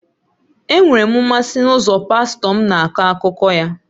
Enwere m mmasị n'ụzọ pastọ m na-akọ akụkọ ya